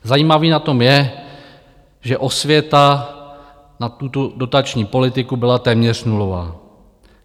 Zajímavé na tom je, že osvěta na tuto dotační politiku byla téměř nulová.